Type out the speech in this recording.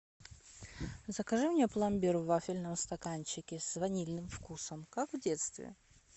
закажи мне пломбир в вафельном стаканчике с ванильным вкусом как в детстве